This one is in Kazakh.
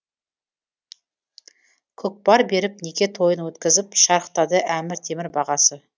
көкпар беріп неке тойын өткізіп шарықтады әмір темір бағасы